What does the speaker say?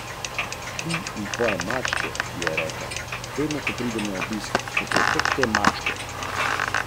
Večina hotelov v piranski občini bo tako v času velikonočnih praznikov polno zasedenih, pravijo v Turističnem združenju Portorož.